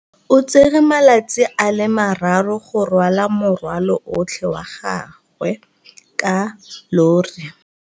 O tsere malatsi a le marraro go rwala morwalo otlhe wa gagwe ka llori.